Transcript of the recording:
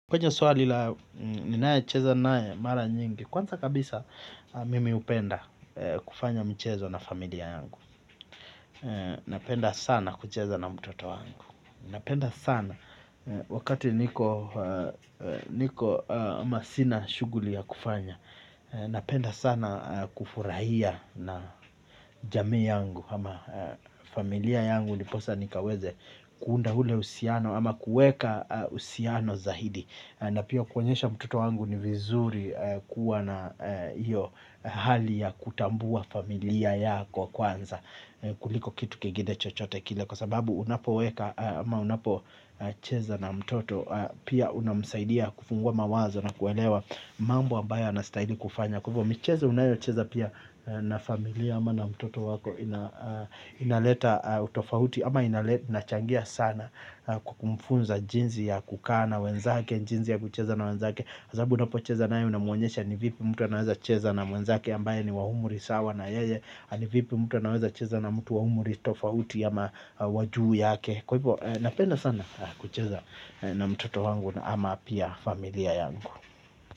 Kwenye swali la ninayecheza naye mara nyingi. Kwanza kabisa mimi hupenda kufanya mchezo na familia yangu. Napenda sana kucheza na mtoto wangu. Napenda sana wakati niko ama sina shughuli ya kufanya. Napenda sana kufurahia na jami yangu. Ama familia yangu ndiposa nikaweze kuunda ule uhusiano ama kueka uhusiano zaidi. Na pia kuonyesha mtoto wangu ni vizuri kuwa na hali ya kutambua familia yako kwanza kuliko kitu kingine chochote kile kwa sababu unapoweka ama unapocheza na mtoto pia unamsaidia kufungua mawazo na kuelewa mambo ambayo anastahili kufanya. Kwa hivyo micheza unayocheza pia na familia ama na mtoto wako inaleta utofauti. Ama inachangia sana kumfunza jinsi ya kukaa na wenzake, jinsi ya kucheza na wenzake kwa sababu unapocheza naye unamuonyesha ni vipi mtu anaweza cheza na mwenzake ambaye ni wa umri sawa na yeye. Ni vipi mtu anaweza cheza na mtu wa umri tofauti ama wa juu yake. Kwa hivyo napenda sana kucheza na mtoto wangu ama pia familia yangu.